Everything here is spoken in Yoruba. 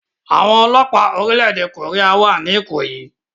Àwọn ọlọ́pàá orílẹ̀-èdè Korea wà ní Ikoyi